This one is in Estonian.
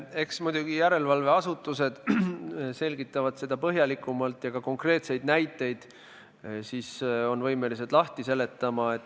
Eks muidugi järelevalveasutused selgitavad seda põhjalikumalt ja on ka konkreetseid näiteid võimelised lahti seletama.